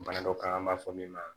Bana dɔ kan an b'a fɔ min ma